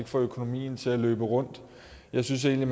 få økonomien til at løbe rundt jeg synes egentlig